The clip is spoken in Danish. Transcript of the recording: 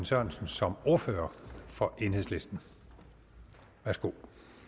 sørensen som ordfører for enhedslisten værsgo